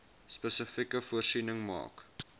spesifiek voorsiening maak